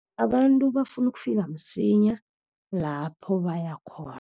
Abantu bafuna ukufika msinya lapho bayakhona.